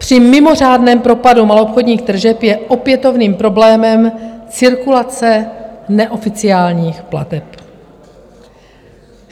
Při mimořádném propadu maloobchodních tržeb je opětovným problémem cirkulace neoficiálních plateb.